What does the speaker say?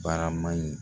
Baraman in